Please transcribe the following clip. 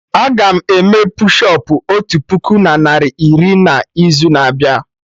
Aga m eme push ụp otu puku narị na iri na izu na abịa